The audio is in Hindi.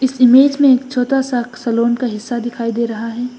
इसमें एक छोटा से सलोन का हिस्सा दिखाई दे रहा है।